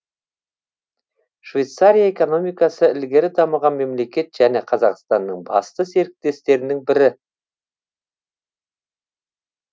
швейцария экономикасы ілгері дамыған мемлекет және қазақстанның басты серіктестерінің бірі